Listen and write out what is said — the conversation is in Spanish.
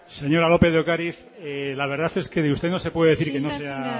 señora lópez de ocariz la verdad es que de usted no se puede decir que no sea